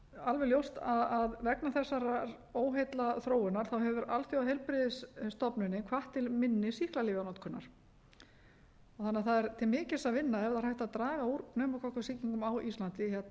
alveg ljóst að vegna þessarar óheillaþróunar hefur alþjóðaheilbrigðisstofnunin í krónum líka hvatt til minni sýklalyfjanotkunar það er því til mikils að vinna ef hægt er að draga úr pneumókokkasýkingum á íslandi